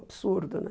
Absurdo, né?